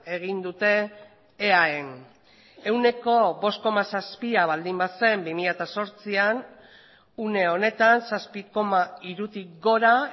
egin dute eaen ehuneko bost koma zazpia baldin bazen bi mila zortzian une honetan zazpi koma hirutik gora